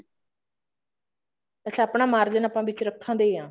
ਅੱਛਾ ਆਪਣਾ ਮਾਰਜਿਨ ਵਿੱਚ ਰੱਖਣਾ ਹੀ ਹੈ